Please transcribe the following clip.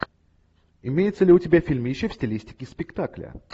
имеется ли у тебя фильмище в стилистике спектакля